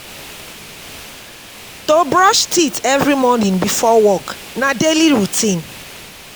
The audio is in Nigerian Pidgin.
To brush teeth every morning before work na daily routine